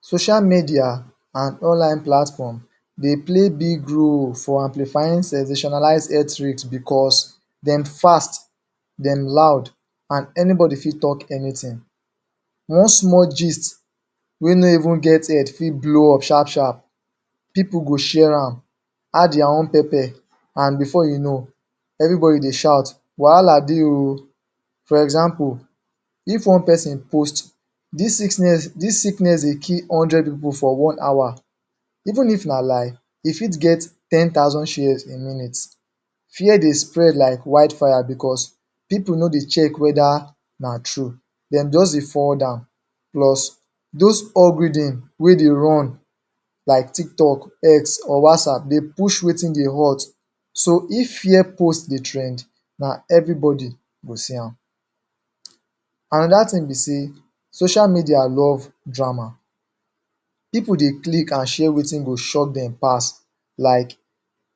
Social media an online platform dey play big role for amplifying sensationalize health risk becos dem fast, dem loud, an anybody fit talk anytin. One small gist wey no even get head fit blow up sharp-sharp. Pipu go share am, add dia own pepper, an before you know, everybody dey shout, "Wahala dey oh!" For example, if one peson post, "Dis sickness dey kill hundred pipu for one hour". Even if na lie, e fit get ten thousand shares in minutes. Fear dey spread like wildfire becos pipu no dey check whether na true, dem juz dey forward am. Plus, dos algorithm wey dey run: like Tiktok, X, or WhatsApp, dey push wetin dey hot. So, if fear post dey trend, na everybody go see am. Another tin be sey social media love drama. Pipu dey click an share wetin go shock dem pass like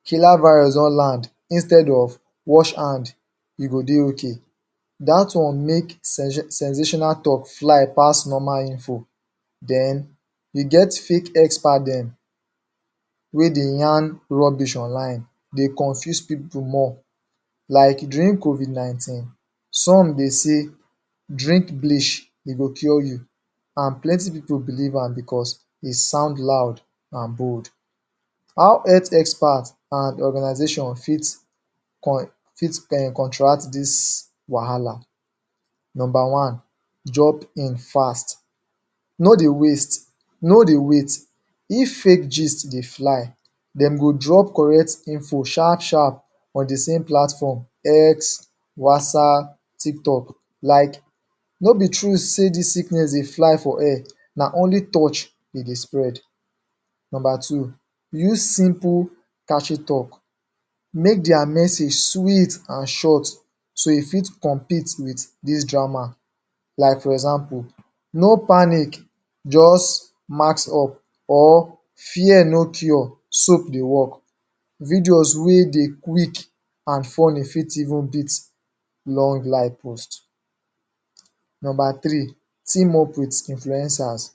"Killer virus don land!" instead of "Wash hand, you go dey okay". Dat one make sensational talk fly pass normal info. Then, e get fake expert dem wey dey yarn rubbish online, dey confuse people more. Like during Covid-19, some dey say: "Drink bleach, e go cure you," an plenty people believe am becos e sound loud, an bold How health expert an organization fit counteract dis wahala? Nomba one: Jump in fast. No dey waste, no dey wait; if fake gist dey fly, dem go drop correct info sharip-sharp on the same platform: X, WhatsApp, TikTok. Like "No be true sey dis sickness dey fly for air, na only touch de dey spread." Nomba two: Use simple catchy talk. Make dia message sweet an short so e fit compete with dis drama. Like for example: "No panic. Juz mask up." or "Fear no cure; Soap dey work." Videos wey dey qucik and funny fit even beat long line post. Nomba three: Team-up with influencers.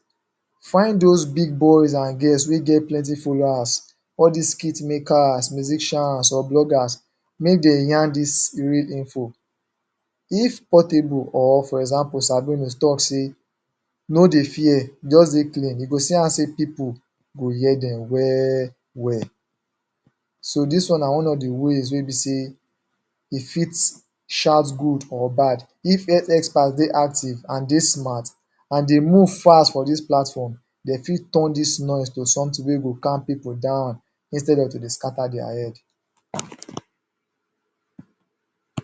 Find dos big boys an girls wey get plenty followers–all dis skit-makers, musicians, or bloggers–make de yarn dis real info. If Portable, or for example Sabinus, talk sey, "No dey fear. Juz dey clean," you go see am sey pipu go hear dem well-well. So, dis one na one of the ways wey be sey e fit shout good or bad. If health expert dey active an dey smart, an dey move fas for dis platform, de fit turn dis noise to sometin wey go calm people down instead of to dey scatter dia head.